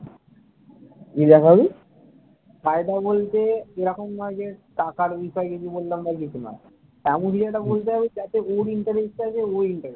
এমন কিছু একটা বলতে হবে যাতে ওর interest থাকে ও interest হয়।